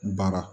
Baara